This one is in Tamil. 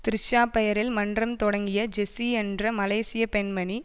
த்ரிஷா பெயரில் மன்றம் தொடங்கிய ஜெஸி என்ற மலேசிய பெண்மணி